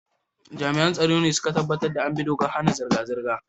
Jami'an tsaro ne su ka tabbatar da an bi dokar hana zirga-zirga.